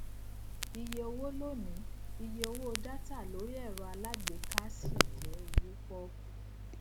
iye owó lónìí iye owó dátà lori ẹrọ alágbèéká ṣi jẹ owó pọkú